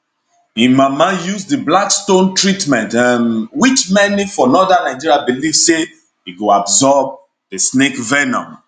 im mama use di black stone treatment um which many for northern nigeria believe say e go absorb di snake venom